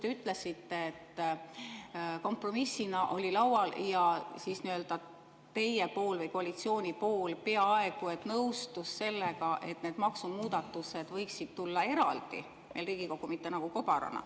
Te ütlesite, et kompromissina oli laual ja koalitsioon peaaegu et nõustus sellega, et need maksumuudatused võiksid tulla Riigikokku eraldi, mitte kobarana.